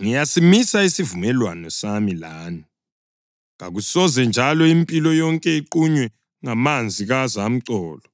Ngiyasimisa isivumelwano sami lani: Kakusoze njalo impilo yonke iqunywe ngamanzi kazamcolo;